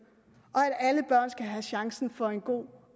og have chancen for en god